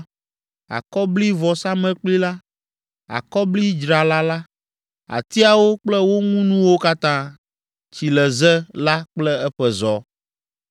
Akɔblivɔsamlekpui la, akɔblidzrala la; atiawo kple wo ŋunuwo katã; tsileze la kple eƒe zɔ;